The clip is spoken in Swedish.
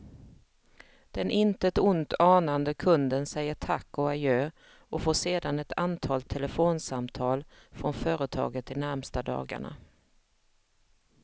Den intet ont anande kunden säger tack och adjö och får sedan ett antal telefonsamtal från företaget de närmaste dagarna.